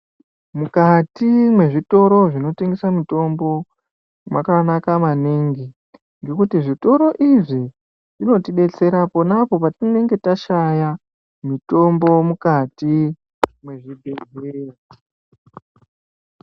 Mukati mwezvitoro zvinotengesa mutombo makanaka maningi, ngekuti zvitoro izvi zvinotibetsera ponapo patinenge tashaya mitombo mukati mwezvibhedhleya.